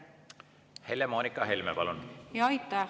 Helle-Moonika Helme, palun!